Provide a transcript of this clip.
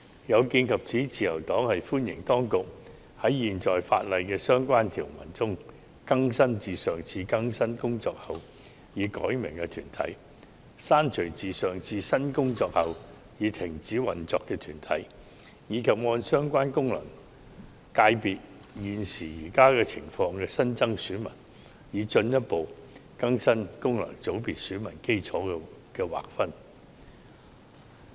有見及此，自由黨歡迎當局在現行法例的相關條文下，更新已改名的團體、刪除已停止運作的團體，以及按相關功能界別現時的情況新增選民，進一步更新功能界別選民基礎的劃分。